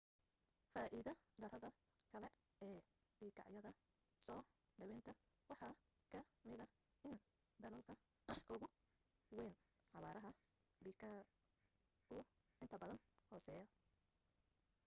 faa'iida darrada kale ee bikaacyada soo dhawaynta waxa ka mida in daloolka ugu wayn xawaaraha bikaacu inta badan hooseeyo